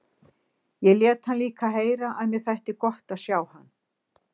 Ég lét hann líka heyra að mér þætti gott að sjá hann.